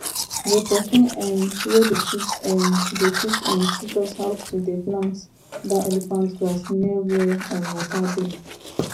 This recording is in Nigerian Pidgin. the pesin um wey dey teach um dey teach um teach us how to dey plant that elephant grass near where um water dey